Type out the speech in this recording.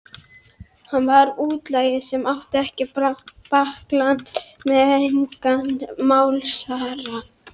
Hann var útlagi sem átti ekkert bakland, engan málsvara.